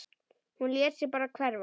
Hún lét sig bara hverfa.